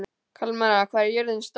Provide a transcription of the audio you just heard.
Kalmara, hvað er jörðin stór?